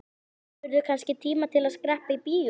Hefurðu kannski tíma til að skreppa í bíó?